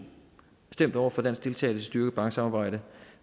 stemt over for dansk deltagelse styrkede banksamarbejde